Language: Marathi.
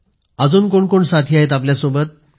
अजून कोण कोण साथी आहेत आपल्यासोबत